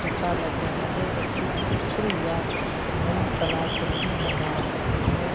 ऐसा लग रहा है बच्चे चित्र या कुछ नई कलाकृति बना रहे हैं।